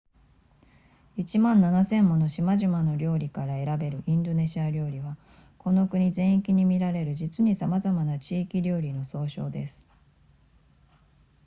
1万7千もの島々の料理から選べるインドネシア料理はこの国全域に見られる実にさまざまな地域料理の総称です